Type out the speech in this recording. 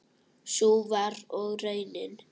Sú var og raunin.